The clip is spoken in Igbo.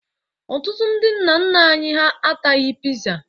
Ọtụtụ ndị nna nna anyị ha ataghị Piza.